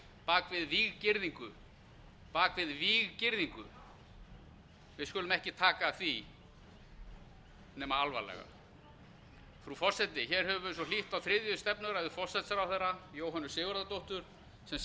bak við víggirðingu við skulum ekki taka því nema alvarlega frú forseti hér höfum við svo hlýtt á þriðju stefnuræðu forsætisráðherra jóhönnu sigurðardóttur sem